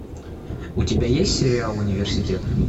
у тебя есть сериал университет